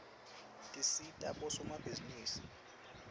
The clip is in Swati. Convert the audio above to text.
tisita bosomabhizinisi